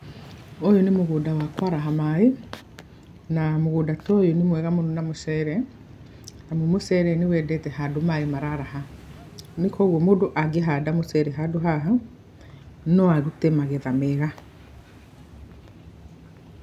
Ũyũ nĩ mũgũnda wa kũaraha maaĩ, na mũgũnda ta ũyũ nĩ mwega mũno na mũcere amu mũcere nĩ endete handũ maaĩ mara araha. Koguo mũndũ angĩhanda mũcere handũ haha, no arute magetha mega.